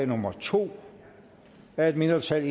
nummer to af et mindretal